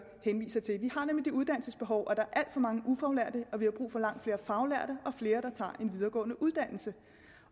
henviser til vi har nemlig det uddannelsesbehov og der er alt for mange ufaglærte og vi har brug for langt flere faglærte og flere der tager en videregående uddannelse